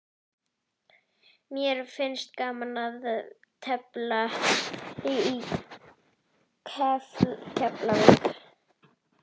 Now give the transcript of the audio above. Mér finnst gaman að tefla í Keflavík.